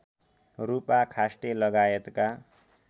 रूपा खास्टे लगायतका